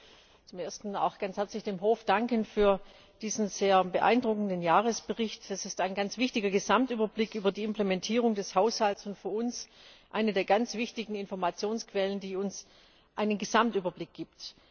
Ich möchte zum Ersten auch ganz herzlich dem Hof für diesen sehr beeindruckenden Jahresbericht danken. Es ist ein ganz wichtiger Gesamtüberblick über die Implementierung des Haushalts und für uns eine der ganz wichtigen Informationsquellen, die uns einen Gesamtüberblick gibt.